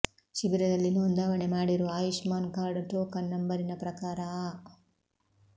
ಶಿಬಿರದಲ್ಲಿ ನೋಂದಾವಣೆ ಮಾಡಿರುವ ಆಯುಷ್ಮಾನ್ ಕಾರ್ಡ್ ಟೋಕನ್ ನಂಬರಿನ ಪ್ರಕಾರ ಆ